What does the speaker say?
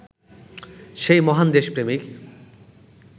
সেই মহান দেশপ্রেমিক